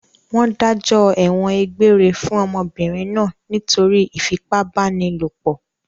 Wọ́n dájọ́ ẹ̀wọ̀n egbére fún ọmọbìnrin náà nítorí ìfipábánilòpọ̀?